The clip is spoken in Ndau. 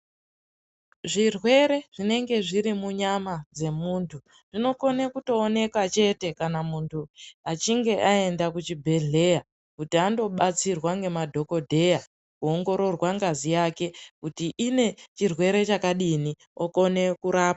Zvirwere zvinenge zviri munyama dzemuntu dzinokona kuoneka chete kana muntu achinge aenda kuchibhedhleya Kuti andobatsirwa nemadhokodheya kuongororwa ngazi yake kuti inechirwere chakadini Kona kurapwa.